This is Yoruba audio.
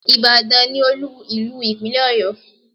Ìbàdàn ni olú ìlú ìpínlẹ̀ Ọ̀yọ́